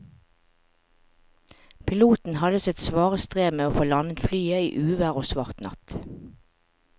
Piloten hadde sitt svare strev med å få landet flyet i uvær og svart natt.